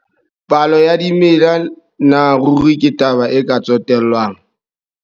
Palo ya dimela na ruri ke taba e ka tsotellwang?